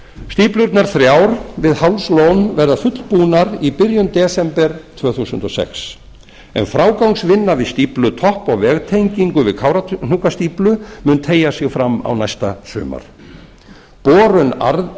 stíflurnar þrjár við hálslón verða fullbúnar í byrjun desember tvö þúsund og sex en frágangsvinna við stíflu topp og vegtengingu við kárahnjúkastíflu mun teygja sig fram á næsta sumar borun